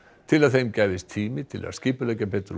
til að þeim gefist tími til að skipuleggja betur